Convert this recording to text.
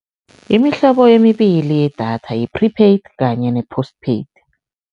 Imihlobo emibili yedatha yi-prepaid kanye ne-post paid.